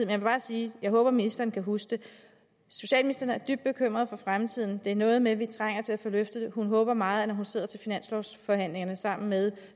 vil bare sige at jeg håber at ministeren kan huske det socialministeren er dybt bekymret for fremtiden det er noget med at vi trænger til at få løftet det hun håber meget at man når hun sidder til finanslovsforhandlingerne sammen med